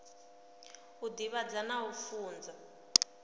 u divhadza na u funza